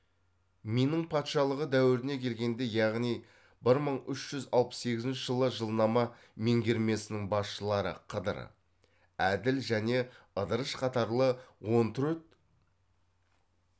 минң патшалығы дәуіріне келгенде яғни бір мың үш жүз алпыс сегізінші жылы жылнама меңгермесінің басшылары қыдыр әділ және ыдырыш қатарлы он төрт